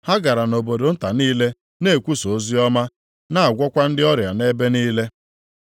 Ha gara nʼobodo nta niile na-ekwusa oziọma na-agwọkwa ndị ọrịa nʼebe niile.